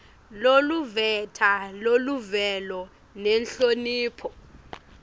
loluveta luvelo nenhlonipho